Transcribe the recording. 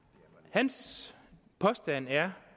hans påstand er